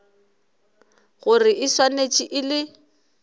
gore e swanetše e le